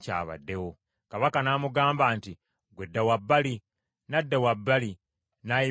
Kabaka n’amugamba nti, “Ggwe dda wabbali.” N’adda wabbali n’ayimirira awo.